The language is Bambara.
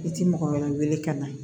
I ti mɔgɔ wɛrɛ wele ka na